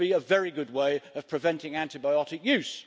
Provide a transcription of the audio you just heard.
This would be a very good way of preventing antibiotic use.